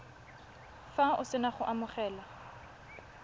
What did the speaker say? fa o sena go amogela